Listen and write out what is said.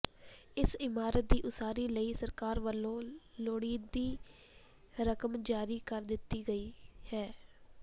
ਇਸ ਇਮਾਰਤ ਦੀ ਉਸਾਰੀ ਲਈ ਸਰਕਾਰ ਵਲੋਂ ਲੋੜੀਂਦੀ ਰਕਮ ਜਾਰੀ ਕਰ ਦਿੱਤੀ ਗਈ ਹੈ